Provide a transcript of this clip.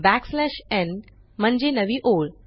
backslash न् n म्हणजे नवी ओळ